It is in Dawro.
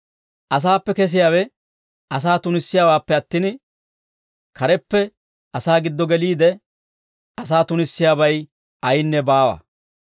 Asaappe kesiyaawe asaa tunissiyaawaappe attin, kareppe asaa giddo geliide, asaa tunissiyaabay ayinne baawa;